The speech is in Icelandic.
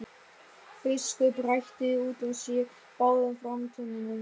Biskup hrækti út úr sér báðum framtönnunum.